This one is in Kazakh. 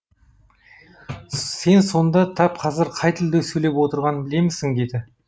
сен сонда тап қазір қай тілде сөйлеп отырғаныңды білемісің деді